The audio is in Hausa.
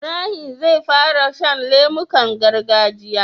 Ibrahim zai fara shan lemukan gargajiya